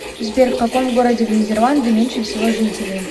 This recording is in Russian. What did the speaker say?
сбер в каком городе в нидерланды меньше всего жителей